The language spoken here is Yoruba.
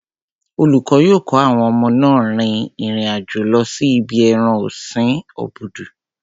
Olùkọ́ yóò kó àwọn ọmọ náà rin ìrìn àjò lọ sí ibi ẹran ọ̀sin obudu.